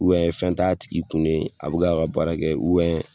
fɛn t'a tigi kun de a bɛ ka baara kɛ